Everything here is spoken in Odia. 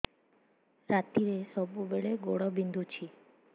ରାତିରେ ସବୁବେଳେ ଗୋଡ ବିନ୍ଧୁଛି